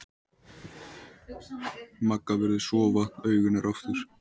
Magga virðist sofa, augun eru aftur.